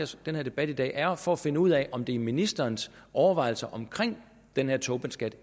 den her debat i dag er jo for at finde ud af om det indgår i ministerens overvejelser omkring den her tobinskat